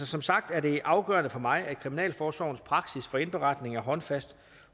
som sagt er det afgørende for mig at kriminalforsorgens praksis for indberetning er håndfast